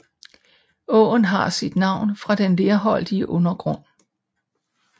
Åen har sit navn fra den lerholdige undergrund